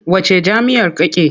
Wacce jam'iyyar kake?